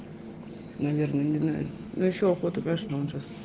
наверное не знаю но ещё охота понимаешь началась